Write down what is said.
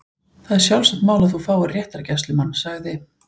Það er sjálfsagt mál að þú fáir réttargæslumann- sagði